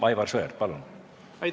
Aivar Sõerd, palun!